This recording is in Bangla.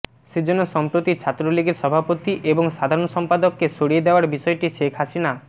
সেজন্য সম্প্রতি ছাত্রলীগের সভাপতি এবং সাধারণ সম্পাদককে সরিয়ে দেয়ার বিষয়টি শেখ হাসিনা